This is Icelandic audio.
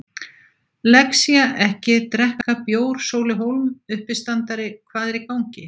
Lexía-ekki drekka bjór Sóli Hólm, uppistandari Hvað er í gangi?